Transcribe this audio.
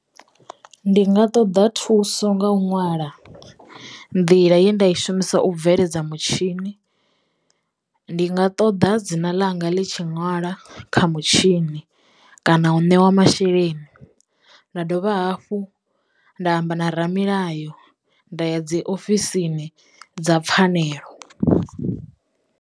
Ndi nga ṱoḓa thuso nga u ṅwala nḓila yenda i shumisa u bveledza mutshini, ndi nga ṱoḓa dzina ḽanga ḽi tshi ṅwala kha mutshini kana u ṋeiwa masheleni nda dovha hafhu nda amba na ramilayo nda ya dzi ofisini dza pfhanelo.